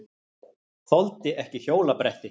Þoldi ekki hjólabretti.